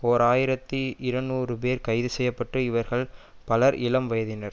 ஓர் ஆயிரத்தி இருநூறு பேர் கைது செய்யப்பட்டுஇவர்கள் பலர் இளம்வயதினர்